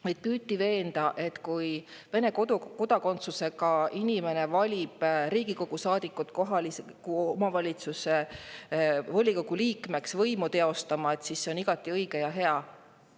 Meid püüti veenda, et kui Vene kodakondsusega inimene valib Riigikogu saadikut kohaliku omavalitsuse volikogu liikmeks kohalikku võimu teostama, siis see on igati õige ja hea.